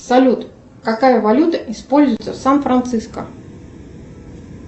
салют какая валюта используется в сан франциско